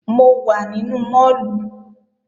Mo wà nínú máàlù